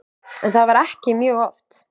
En það var ekki mjög oft.